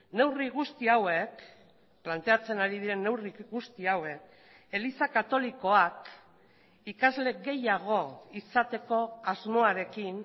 neurri guzti hauek planteatzen ari diren neurri guzti hauek eliza katolikoak ikasle gehiago izateko asmoarekin